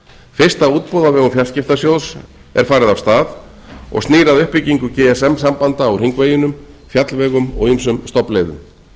fyrsta útboð á vegum fjarskiptasjóðs er farið af stað og snýr að uppbyggingu gsm sambanda á hringveginum fjallvegum og ýmsum stofnleiðum